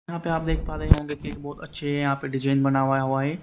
यहां पे आप देख पा रहे होंगे कि अच्छे यहां पे डिजाइन बना हुआ है वहीं--